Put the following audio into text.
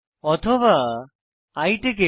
অথবা i ticket